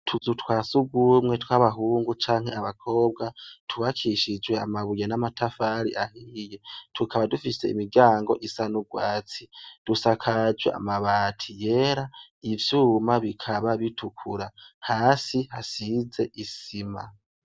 Utuzu twasugumwe tw'abahungu canke abakobwa ,tuwubakishijwe amabuye n'amatafari ahiye. Tukaba dufise imiryango isanubwatsi, dusakaje amabati yera ivyuma bikaba bitukura. Hasi hasize isima.